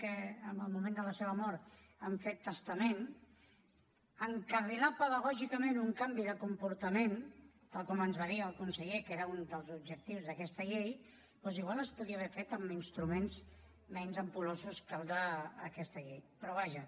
que en el moment de la seva mort han fet testament encarrilar pedagògicament un canvi de comportament tal com ens va dir el conseller que era un dels objectius d’aquesta llei doncs igual es podria haver fet amb instruments menys ampul·losos que el d’aquesta llei però vaja